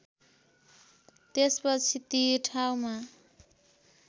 त्यसपछि ती ठाउँमा